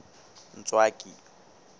ntswaki